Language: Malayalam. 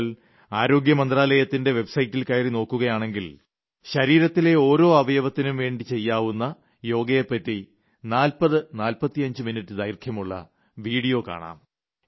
താങ്കൾ ആരോഗ്യ മന്ത്രാലയത്തിന്റെ വെബ് സൈറ്റിൽ കയറി നോക്കുകയാണെങ്കിൽ ശരീരത്തിലെ ഓരോ അവയവയത്തിനും വേണ്ടി ചെയ്യാവുന്ന യോഗയെപ്പറ്റി 4045 മിനിറ്റ് ദൈർഘ്യമുളള വീഡിയോ കാണാം